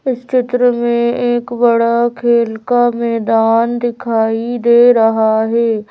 इस चित्र में एक बड़ा खेल का मैदान दिखाई दे रहा है।